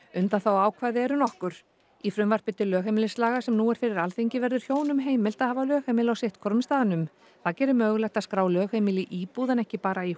undanþáguákvæði eru nokkur í frumvarpi til lögheimilislaga sem nú er fyrir Alþingi verður hjónum heimilt að hafa lögheimili á sitt hvorum staðnum það gerir mögulegt að skrá lögheimili í íbúð ekki bara í